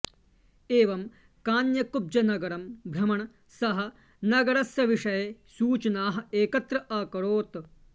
एवं कान्यकुब्जनगरं भ्रमन् सः नगरस्य विषये सूचनाः एकत्र अकरोत्